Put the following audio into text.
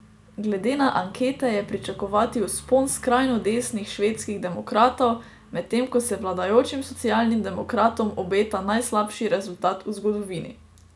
Glede na ankete je pričakovati vzpon skrajno desnih Švedskih demokratov, medtem ko se vladajočim socialnim demokratom obeta najslabši rezultat v zgodovini.